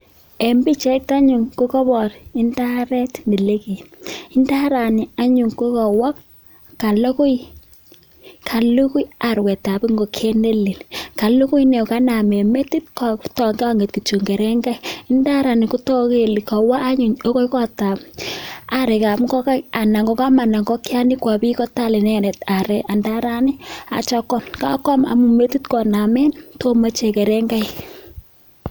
En pichait anyun ko kapara indaret ne lekei. Indarani anyun ko kawa, kalugui arwet ap ngokiet ne lel. Kalugui , kaname metiit, kang'et kityp kerengaiik. Indarani kotaku kole kawa any akoi kot ap areek ap ingokai, anan ko kamanda ingikiani kowa pi kotal inendet arek indarani atiam koam. Kakoam, ame metit konamen to icheg kerengaik.